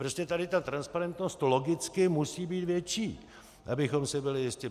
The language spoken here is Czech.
Prostě tady ta transparentnost logicky musí být větší, abychom si byli jisti.